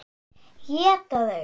Éta þau?